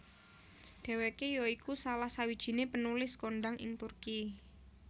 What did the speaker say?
Dheweke ya iku salah sawijine penulis kondhang ing Turki